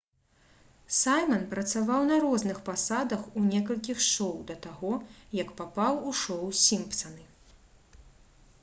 сайман працаваў на розных пасадах у некалькіх шоў да таго як папаў у шоў «сімпсаны»